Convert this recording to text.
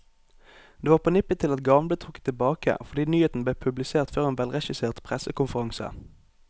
Det var på nippet til at gaven ble trukket tilbake, fordi nyheten ble publisert før en velregissert pressekonferanse.